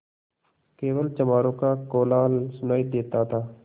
केवल चमारों का कोलाहल सुनायी देता था